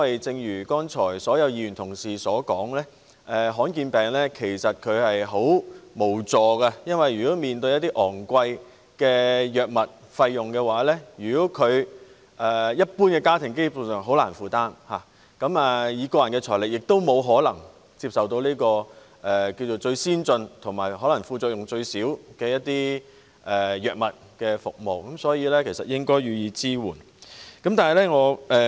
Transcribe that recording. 正如剛才所有議員的發言，罕見病患者很無助，他們面對昂貴的藥物費用，一般家庭根本難以負擔，以個人財力更不可能接受最先進或副作用最少的藥物，所以，政府應該對他們予以支援。